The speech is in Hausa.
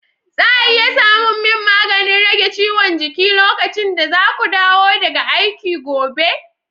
za a iya samun min maganin rage ciwon jiki lokacin da za ku dawo daga aiki gobe?